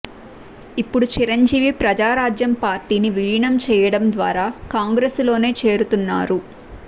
ఇప్పుడు చిరంజీవి ప్రజారాజ్యం పార్టీని విలీనం చేయడం ద్వారా కాంగ్రెసులోనే చేరుతున్నారు